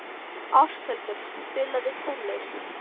Ásthildur, spilaðu tónlist.